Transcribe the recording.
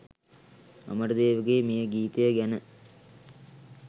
අමරදේවගේ මේ ගීතය ගැන